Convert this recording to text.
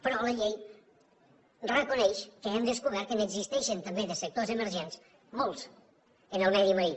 però la llei reconeix que hem descobert que n’existeixen també de sectors emergents molts en el medi marí